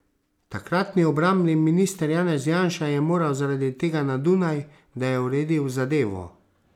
Takratni obrambni minister Janez Janša je moral zaradi tega na Dunaj, da je uredil zadevo.